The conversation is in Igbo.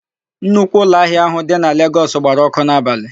Nnukwu ụlọahịa áhụ̀ dị na Legọs gbara ọ́kụ́ n'abalị.